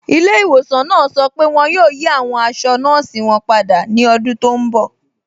Ìlẹ̀-ìwọ̀sàn náà sọ pé wọn yóò yí awọn àṣọ̀ nọọ̀sí wọn pádà ní ọ̀dún tó nbọ̀